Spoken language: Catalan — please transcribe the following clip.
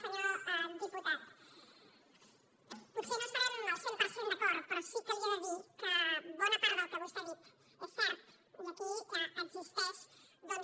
senyor diputat potser no estarem al cent per cent d’acord però sí que li he de dir que bona part del que vostè ha dit és cert i aquí existeix doncs